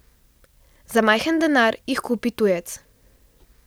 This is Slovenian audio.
Za majhen denar jih kupi tujec.